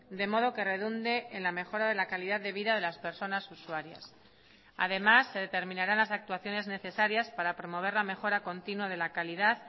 de modo que redunde en la mejora de la calidad de vida de las personas usuarias además se determinarán las actuaciones necesarias para promover la mejora continua de la calidad